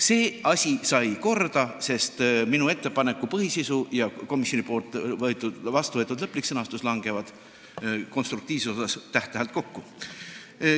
See asi sai korda: minu ettepaneku põhisisu ja komisjoni vastuvõetud lõplik sõnastus langevad konstruktiivsuse mõttes täht-tähelt kokku.